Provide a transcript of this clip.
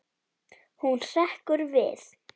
Hún hrekkur við.